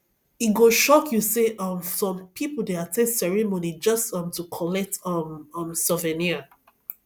e go shock you say um some people dey at ten d ceremony just um to collect um um souvenir